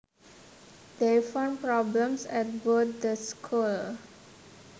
They found problems at both the schools